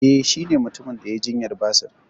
Eh shi ne mutumin da yai jinyar basir